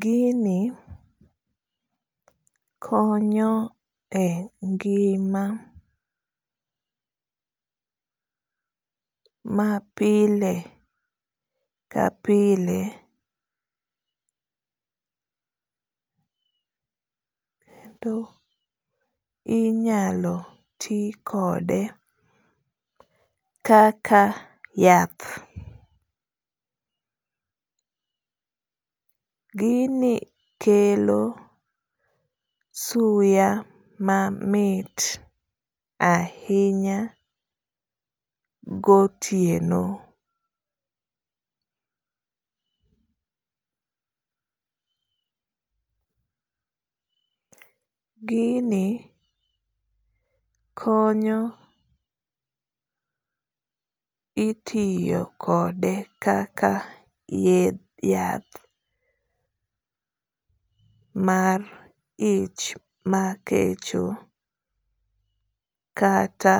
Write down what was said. gini konyo e ngima mapile kapile kendo inyalo ti kode kaka yath ,gini kelo suya mamit ahinya gotieno, gini konyo itiyo kode kaka yath mar ich makecho kata